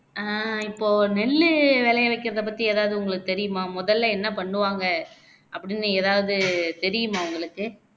ஆஹ் இப்போ நெல்லு விளைய வைக்கிறது பத்தி எதாவது உங்களுக்கு தெரியுமா மொதல்ல என்ன பண்ணுவாங்க அப்படின்னு எதாவது தெரியுமா உங்களுக்கு